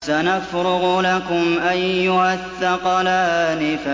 سَنَفْرُغُ لَكُمْ أَيُّهَ الثَّقَلَانِ